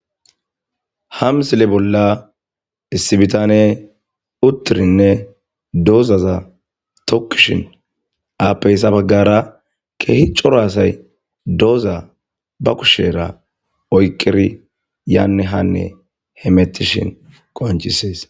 hamsile bolla issibitane uttirinne doozaza tokkishin aapeyssa baggara keehi cora asay dooza ba kushera oyqiri yaanne hanne hemettishin qoncisees